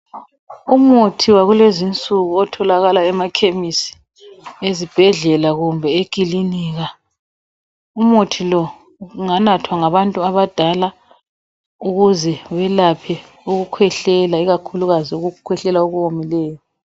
Umuthi wakulezi insuku otholakala emakhemisi, ezibhedlela kumbe ekilinika. Umuthi lo unganathwa ngabantu abadala ukuze belaphe ukukhwehlela, ikakhulukazi ukukhwehlela okuwomileyo.